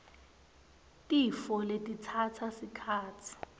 tifo letitsatsa sikhatsi